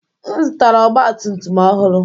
M zụtara ọgba tum tum ọhụrụ.